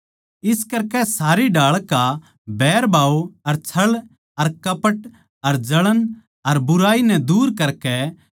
इस करकै सारी ढाळ का बैरभाव अर छळ अर कपट अर जळण अर बुराई नै दूर करकै